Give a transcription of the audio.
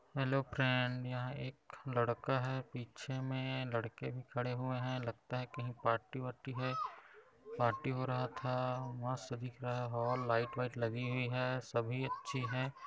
Hello friend यहां एक लड़का पीछे मे लड़के भी खड़े हुए हैं। लगता है कहीं पार्टी वारटी है। पार्टी हो रहा था। मस्त दिख रहा हॉल लाइट वाईट लगी हुई है। सभी याची है।